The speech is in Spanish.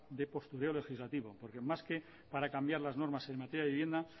de postureo legislativo porque en más que para cambiar las normas en materia de vivienda